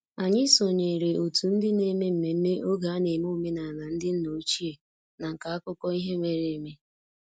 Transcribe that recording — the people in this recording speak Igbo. Anyị sonyeere otu ndị na-eme mmemme oge a na-eme omenala ndị nna ochie na nka akụkọ ihe mere eme